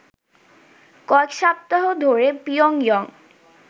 কয়েক সপ্তাহ ধরে পিয়ংইয়ং